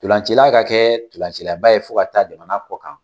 Ntolancila ka kɛ ntolancilaba ye fo ka taa jamana kɔ kan